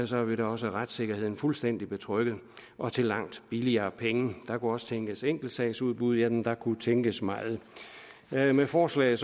så har vi da også retssikkerheden fuldstændig betrygget og til langt billigere penge der kunne også tænkes enkeltsagsudbud jamen der kunne tænkes meget med med forslaget